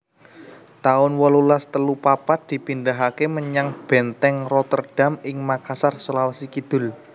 taun wolulas telu papat dipindahaké menyang Bèntèng Rotterdam ing Makassar Sulawesi Kidul